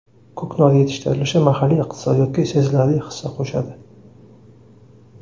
Ko‘knor yetishtirilishi mahalliy iqtisodiyotga sezilarli hissa qo‘shadi.